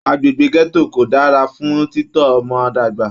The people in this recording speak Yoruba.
Agbègbè gẹto kò dára fún titọ ọmọ dàgbà.